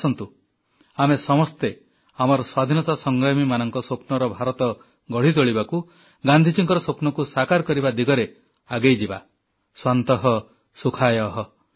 ଆସନ୍ତୁ ଆମେ ସମସ୍ତେ ଆମର ସ୍ୱାଧୀନତା ସଂଗ୍ରାମୀମାନଙ୍କ ସ୍ୱପ୍ନର ଭାରତ ଗଢ଼ି ତୋଳିବାକୁ ଗାନ୍ଧିଜୀଙ୍କର ସ୍ୱପ୍ନକୁ ସାକାର କରିବା ଦିଗରେ ଆଗେଇଯିବା ସ୍ୱାନ୍ତଃ ସୁଖାୟଃ